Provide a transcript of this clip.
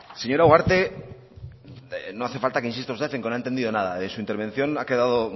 señora ugarte no hace falta que insista usted en que no he entendido nada de su intervención ha quedado